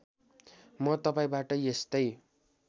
म तपाईँबाट यस्तै